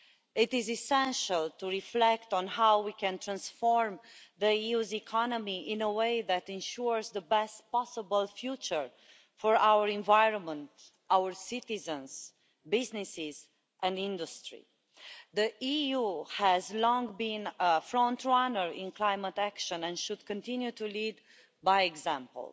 It is essential to reflect on how we can transform the EU's economy in a way that ensures the best possible future for our environment, our citizens, businesses and industry. The EU has long been a front runner on climate action and it should continue to lead by example.